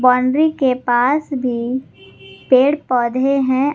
Boundary के पास भी पेड़ पौधे हैं।